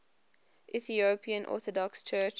ethiopian orthodox church